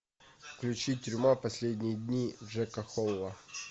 включи тюрьма последние дни джека холла